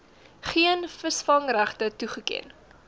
geen visvangregte toegeken